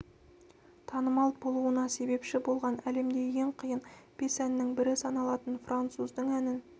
танымал болуына себепші болған әлемде ең қиын бес әннің бірі саналатын француздың әнін